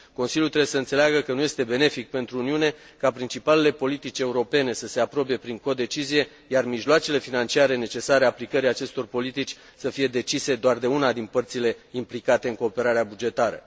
Consiliul trebuie să înțeleagă că nu este benefic pentru Uniune ca principalele politici europene să se aprobe prin codecizie, iar mijloacele financiare necesare aplicării acestor politici să fie decise doar de una din părțile implicate în cooperarea bugetară.